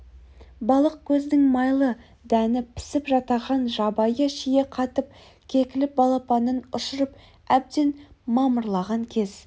балық көздің майлы дәні пісіп жатаған жабайы шие қатып кекілік балапанын ұшырып әбден мамырлаған кез